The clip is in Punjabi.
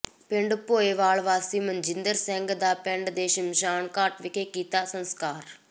ਪਿੰਡ ਭੋਏ ਵਾਲ ਵਾਸੀ ਮਨਜਿੰਦਰ ਸਿੰਘ ਦਾ ਪਿੰਡ ਦੇ ਸਮਸ਼ਾਨਘਾਟ ਵਿਖੇ ਕੀਤਾ ਸੰਸਕਾਰ